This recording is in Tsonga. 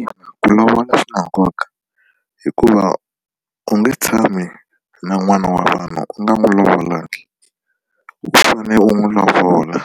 Ina ku lovola swi na nkoka hikuva u nge tshami na n'wana wa vanhu u nga n'wi lovolanga u fane u n'wi lovola